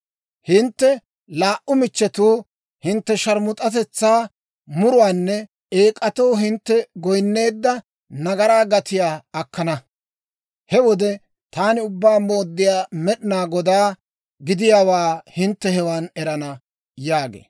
Hintte laa"u michchetuu hintte sharmus'atetsaa muruwaanne eek'atoo hintte goyinneedda nagaraa gatiyaa akkana. He wode taani Ubbaa Mooddiyaa Med'inaa Godaa gidiyaawaa hintte hewan erana» yaagee.